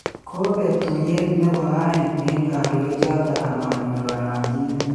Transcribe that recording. Kobeek tuiyet nebo aeng eng kandoik choto amanyor kayanchinet